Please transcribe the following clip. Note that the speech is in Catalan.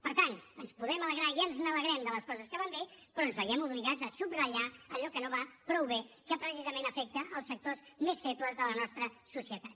per tant ens podem alegrar i ens alegrem de les coses que van bé però ens veiem obligats a subratllar allò que no va prou bé que precisament afecta els sectors més febles de la nostra societat